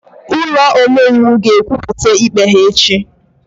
Ụlọ omeiwu ga-ekwupụta ikpe ha echi